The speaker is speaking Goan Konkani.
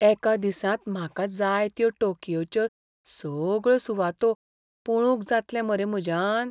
एका दिसांत म्हाका जाय त्यो टोकियोच्यो सगळ्यो सुवातो पळोवंक जातलें मरे म्हाज्यान?